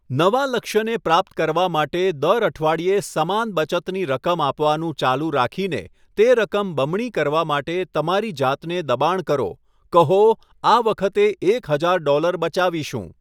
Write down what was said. નવા લક્ષ્યને પ્રાપ્ત કરવા માટે દર અઠવાડિયે સમાન બચતની રકમ આપવાનું ચાલુ રાખીને તે રકમ બમણી કરવા માટે તમારી જાતને દબાણ કરો, કહો, આ વખતે એક હજાર ડોલર બચાવીશું.